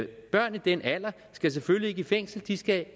børn i den alder skal selvfølgelig ikke i fængsel de skal